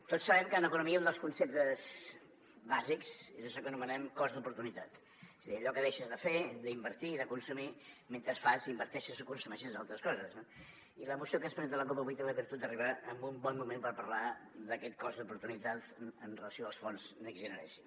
tots sabem que en economia un dels conceptes bàsics és això que anomenem cost d’oportunitat és a dir allò que deixes de fer d’invertir i de consumir mentre fas inverteixes o consumeixes altres coses no i la moció que ens presenta la cup avui té la virtut d’arribar en un bon moment per parlar d’aquest cost d’oportunitat amb relació als fons next generation